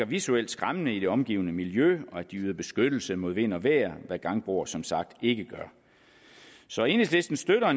visuelt skæmmende i det omgivende miljø og de yder beskyttelse mod vind og vejr hvad gangbroer som sagt ikke gør så enhedslisten støtter